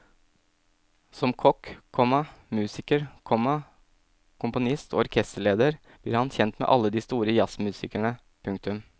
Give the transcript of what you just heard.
Som kokk, komma musiker, komma komponist og orkesterleder blir han kjent med alle de store jazzmusikerne. punktum